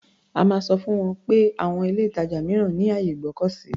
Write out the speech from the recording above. A máa sọ fún wọn pé àwon ilé-ìtàjà mìíràn ní àyè ìgbọ́kọ̀sí.